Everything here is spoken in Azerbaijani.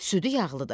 Südü yağlıdır.